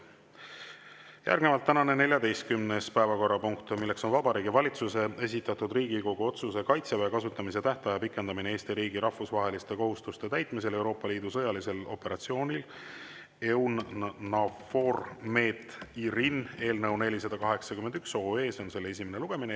Järgnevalt tänane 14. päevakorrapunkt, Vabariigi Valitsuse esitatud Riigikogu otsuse "Kaitseväe kasutamise tähtaja pikendamine Eesti riigi rahvusvaheliste kohustuste täitmisel Euroopa Liidu sõjalisel operatsioonil EUNAVFOR Med/Irini" eelnõu 481 esimene lugemine.